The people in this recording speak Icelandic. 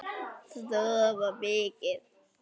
Sofa mikið.